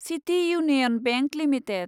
city Union Bank limited